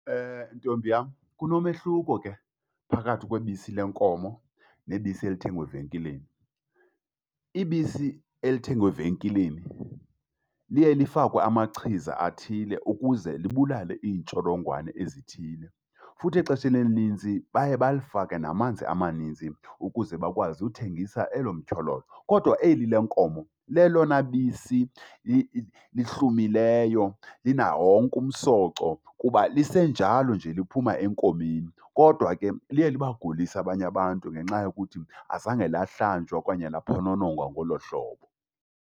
Ntombi yam, kunomehluko ke phakathi kwebisi lenkomo nebisi elithengwa evenkileni. Ibisi elithengwe evenkileni liye lifakwe amachiza athile ukuze libulale iintsholongwane ezithile. Futhi exesheni elininzi baye balifake namanzi amaninzi ukuze bakwazi uthengisa elo , kodwa eli lenkomo lelona bisi lihlumileyo linawo wonke umsoco kuba lisenjalo nje liphuma enkomeni. Kodwa ke liye libagulise abanye abantu ngenxa yokuthi azange lamhlanjwa okanye laphononongwa ngolo hlobo.